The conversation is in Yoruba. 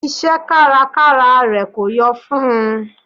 Iṣẹ́ kárakára rẹ̀ kò yọ fún n.